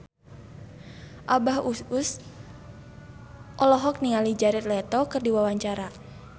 Abah Us Us olohok ningali Jared Leto keur diwawancara